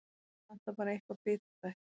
Vantar bara eitthvað bitastætt.